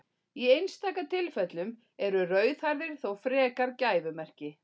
Í einstaka tilfellum eru rauðhærðir þó frekar gæfumerki.